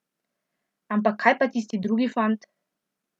Ampak kaj pa tisti drugi fant?